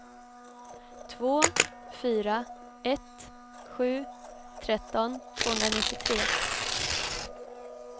två fyra ett sju tretton tvåhundranittiotre